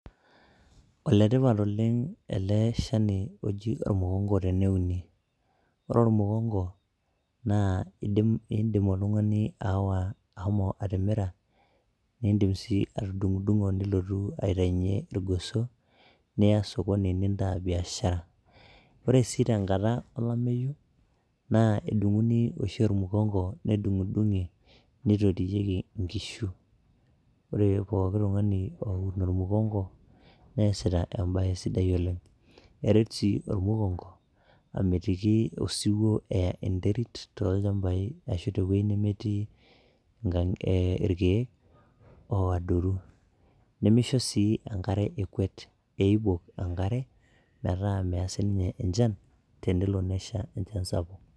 oletipat oleng ele shani oji ormukongo teneuni ore ormukongo naa indim oltung'ani aawa ahomo atimira nindim sii atudung'udung'o nilotu aitainyie irgoso niya sokoni nintaa biashara ore sii tenkata olameyu naa edung'uni oshi ormukongo nedung'idung'i nitotiyieki inkishu ore poki tung'ani oun ormukongo neesita embaye sidai oleng eret sii ormukongo amitiki osiwuo eya enterit tolchambai ashu teweji nemetii irkeek oodoru nemisho sii enkare ekwet eibok enkare metaa meya sininye enchan tenelo nesha enchan sapuk.